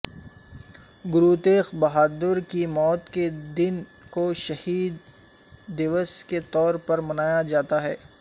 گروتیغ بہادر کی موت کے دن کو شہید دیوس کے طور پر منایا جاتا ہے